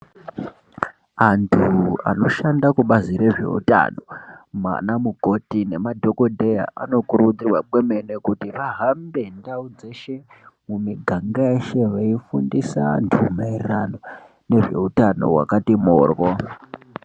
Antu anoshanda kubazi rezveutano, ana mukoti nemadhokodheya anokurudzirwa kwemene kuti vahambe ndau dzeshe mumiganga yeshe veifindisa vantu maererano ngezveutano hwakati mhoryo.